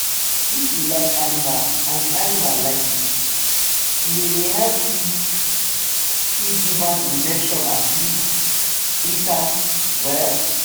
if you like animal and di animal like you e dey dey help you fit give am injection and treat am well.